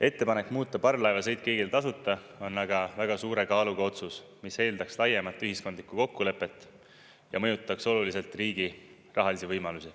Ettepanek muuta parvlaevasõit kõigile tasuta on aga väga suure kaaluga otsus, mis eeldaks laiemat ühiskondlikku kokkulepet ja mõjutaks oluliselt riigi rahalisi võimalusi.